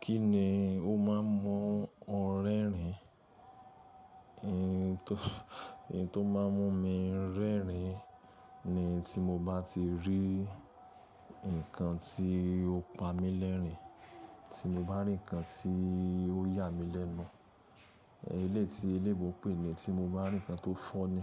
Kí ni o máa ń mú ọ rẹ́rìn? Eh, nto, èyí to má ń mú mi ń rẹ́rìn ni tí mo bá ti rí nǹkan tí ó pa mí lẹ́rìn, tí mo bá rí ǹkan tí ó yà mí lẹ́nu. Eléyi ti elébo pèní tí mo bá rí ǹkan tó fọ́ ni.